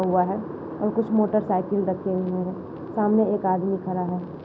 हुआ है और कुछ मोटरसाइकिल रखे हुए है सामने एक आदमी खड़ा है।